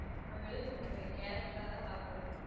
உன்ன வெளுத்துப்புடுவேன் character ஆ தான் பாக்கணும்.